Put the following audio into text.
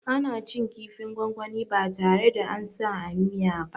Ana cin kifin gwangwani ba tare da ansa a miya ba